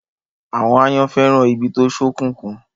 Àwọn àyàn fẹ́ràn ibi tó ṣókùnkùn.